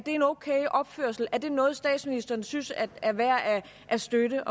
en okay opførsel er det noget statsministeren synes er værd at at støtte